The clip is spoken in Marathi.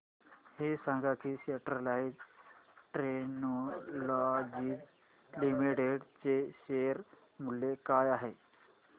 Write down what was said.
हे सांगा की स्टरलाइट टेक्नोलॉजीज लिमिटेड चे शेअर मूल्य काय आहे